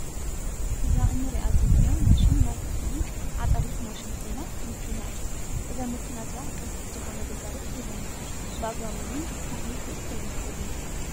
እዛ እንሪኣ ዘለና ማሽን ናይ እክሊ ዓፃዲት ማሽን ኮይና መኪና እያ። እዛ መኪና እዛኣ ቅልጡፍ ዝኮነ ግልጋሎት ትህበና። ብኣግባቡ እውን እቲ እክሊ ክእከብ ይክእል እዩ።